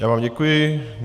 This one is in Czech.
Já vám děkuji.